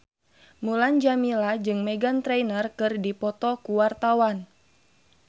Mulan Jameela jeung Meghan Trainor keur dipoto ku wartawan